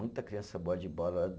Muita criança boa de bola